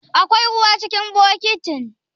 Akwai ruwa cikin bokitin?